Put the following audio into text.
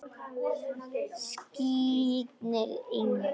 Skírnir Ingi.